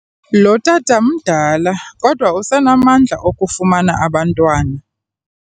Lo tata mdala kodwa usenamandla okufumana abantwana.